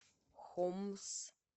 хомс